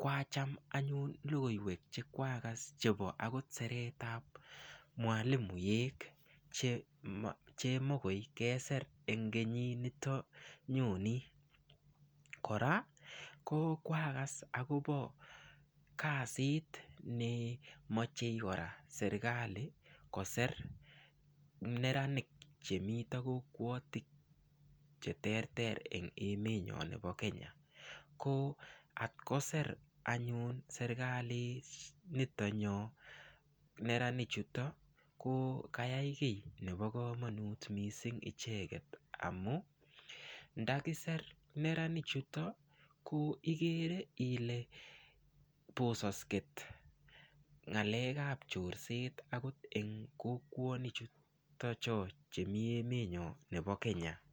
kwacham anyun lokoiwek chekwakas chebo akot seretab mwalimuek chemokoi keser eng' kenyinito nyoni kora ko kwakas akobo kasit ne mochei kora serikali koser neranik chemito kokwotinwek cheterter eng' emenyo nebo Kenya ko atkoser anyun serikali nitonyo neranichuto ko kayai kii nebo kamanut mising' icheget amu ndakiser neranichuto ko igere ile bososkei ng'alekab chorset akot eng' kokwonik chuto cho chemi eme nyo nebo Kenya